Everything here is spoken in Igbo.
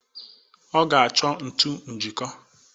Ọ ga-achọ ntụ njịkó.